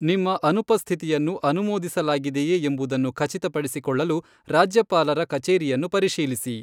ನಿಮ್ಮ ಅನುಪಸ್ಥಿತಿಯನ್ನು ಅನುಮೋದಿಸಲಾಗಿದೆಯೆ ಎಂಬುದನ್ನು ಖಚಿತಪಡಿಸಿಕೊಳ್ಳಲು ರಾಜ್ಯಪಾಲರ ಕಚೇರಿಯನ್ನು ಪರಿಶೀಲಿಸಿ.